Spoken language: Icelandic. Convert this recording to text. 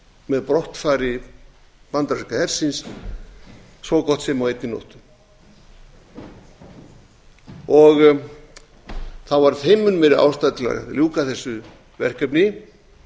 með brottför bandaríska hersins svo gott sem á einni nóttu þá var þeim mun meiri ástæða til að ljúka þessu verkefni